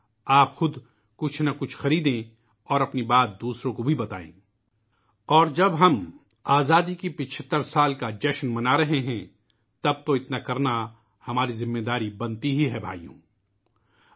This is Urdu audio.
آپ خود بھی کچھ نہ کچھ خریدیں اور اپنی بات دوسروں کو بھی بتائیں اور جب ہم آزادی کے 75 سال کا جشن منا رہے ہیں تو ہماری ذمہ داری ہے کہ ہم ایسا کریں